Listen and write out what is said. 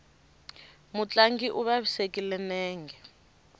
mutlangi u vavisekile nenge